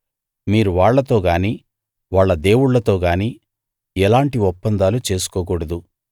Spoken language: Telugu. మీరు వాళ్ళతో గానీ వాళ్ళ దేవుళ్ళతో గానీ ఎలాంటి ఒప్పందాలూ చేసుకోకూడదు